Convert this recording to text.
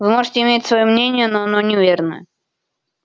вы можете иметь своё мнение но оно неверное